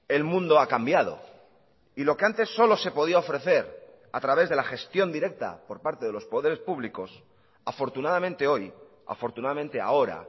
el mundo ha cambiado y lo que antes solo se podía ofrecer a través de la gestión directa por parte de los poderes públicos afortunadamente hoy afortunadamente ahora